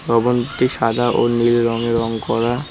ভবনটি সাদা ও নীল রঙে রং করা।